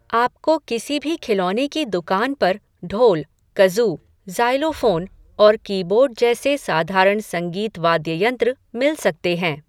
आप को किसी भी खिलौने की दुकान पर ढोल, कज़ू, ज़ाइलोफ़ोन और कीबोर्ड जैसे साधारण संगीत वाद्ययंत्र मिल सकते हैं।